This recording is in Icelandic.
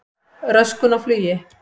Röskun á flugi